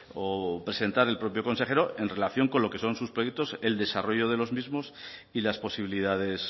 o presentar el propio consejero en relación con lo que son sus proyectos el desarrollo de los mismos y las posibilidades